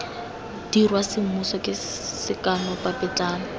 dirwa semmuso ke sekano papetlana